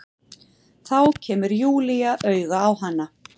Þá kemur Júlía auga á hana.